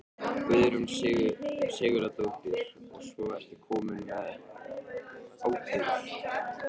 Guðrún Sigurðardóttir: Og svo ertu kominn með áburð?